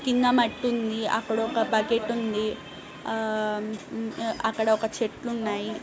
కింద మట్టి ఉంది. అక్కడ ఒక బకెట్ ఉంది ఆ ఆహ్మ్ అక్కడ ఒక చెట్లు ఉన్నాయి.